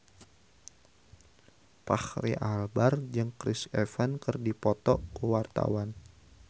Fachri Albar jeung Chris Evans keur dipoto ku wartawan